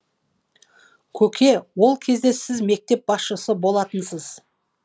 көке ол кезде сіз мектеп басшысы болатынсыз